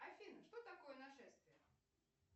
афина что такое нашествие